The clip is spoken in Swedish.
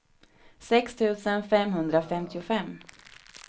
sex tusen femhundrafemtiofem